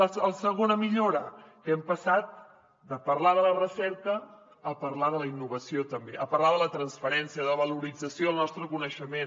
la segona millora que hem passat de parlar de la recerca a parlar de la innovació també a parlar de la transferència de valorització del nostre coneixement